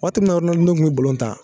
Waati mun na oronalidino kun be balon tan